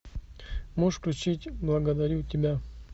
можешь включить благодарю тебя